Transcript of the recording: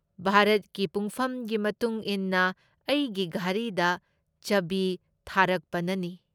ꯚꯥꯔꯠꯀꯤ ꯄꯨꯡꯐꯝꯒꯤ ꯃꯇꯨꯡꯏꯟꯅ ꯑꯩꯒꯤ ꯘꯔꯤꯗ ꯆꯕꯤ ꯊꯥꯔꯛꯄꯅꯅꯤ ꯫